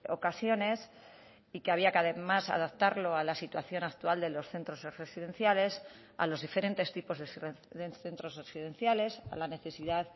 ocasiones y que había que además adaptarlo a la situación actual de los centros residenciales a los diferentes tipos de centros residenciales a la necesidad